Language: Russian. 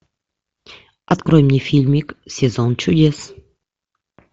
открой мне фильмик сезон чудес